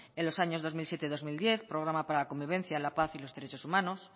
en los años dos mil siete y dos mil diez programa para la convivencia la paz y los derechos humanos